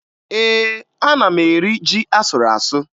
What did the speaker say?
Ee, ana m eri ji a sụrụ asụ